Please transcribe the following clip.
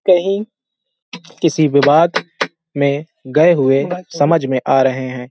कहीं किसी विवाद में गए हुए समझ मे आ रहे हैं।